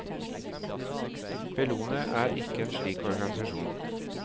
Bellona er ikke en slik organisasjon.